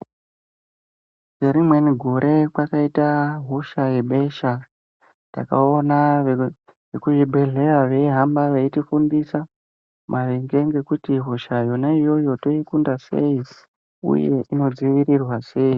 Ngerimweni gore kwakaita hosha yebesha ,takaona veku vekuzvibhedhleya veifamba veitifundisa, maringe ngekuti hosha yona iyoyo toikunda sei, uye inodzivirirwa sei.